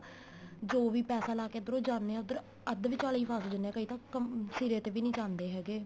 ਜੋ ਵੀ ਪੈਸਾ ਲਾ ਕੇ ਇੱਧਰੋ ਜਾਨੇ ਏ ਉੱਧਰ ਅੱਧ ਵਿਚਾਲੇ ਈ ਫਸ ਜਾਨੇ ਏ ਕਈ ਤਾਂ ਸਿਰੇ ਤੇ ਵੀ ਨੀਂ ਜਾਂਦੇ ਹੈਗੇ